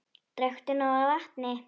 Drekktu nóg af vatni.